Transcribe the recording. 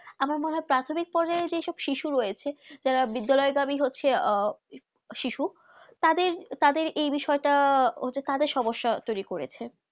আমার মনে হয়ে প্রাথমিক পদে যেসব শিশু রয়েছে যারা বিদ্যালয় ভাবে হচ্ছে আহ শিশু তাদের তাদের যেই বিষয় তা তাদের সমস্যা তৌরি করেছে